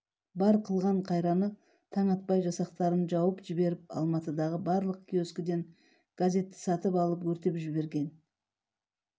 бар қылған қайраны таң атпай жасақтарын жауып жіберіп алматыдағы барлық киоскіден газетті сатып алып өртеп жіберген